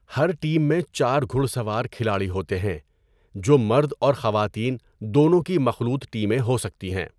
ہر team میں چار گھڑ سوار کھلاڑی ہوتے ہیں، جو مرد اور خواتین دونوں کی مخلوط ٹیمیں ہو سکتی ہیں۔